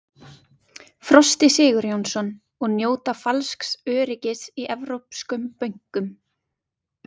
Frosti Sigurjónsson: Og njóta falsks öryggis í evrópskum bönkum?